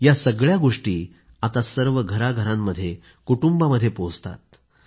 या सगळ्या गोष्टी आता सर्व घरांघरांमध्ये कुटुंबामध्ये पोहोचतात